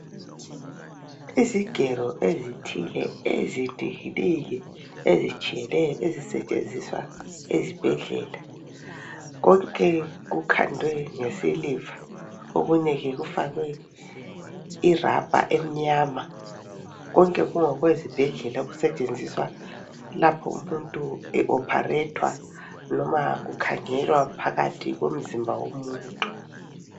Izigero ezithile ezinengi nengi ezitshiyeneyo ezisetshenziswa ezibhedlela konke kukhandwe ngesiliva. Okunye kufakwe irabha emnyama konke kungokwezibhedlela kusetshenziswa lapho umuntu e opharethwa noma kukhangelwa phakathi komzimba womuntu.